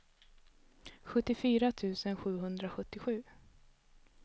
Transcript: sjuttiofyra tusen sjuhundrasjuttiosju